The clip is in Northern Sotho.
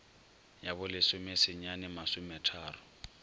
ya bo lesome senyane masometharo